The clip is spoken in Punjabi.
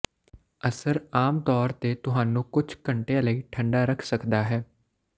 ਅਸਰ ਆਮ ਤੌਰ ਤੇ ਤੁਹਾਨੂੰ ਕੁਝ ਘੰਟਿਆਂ ਲਈ ਠੰਡਾ ਰੱਖ ਸਕਦਾ ਹੈ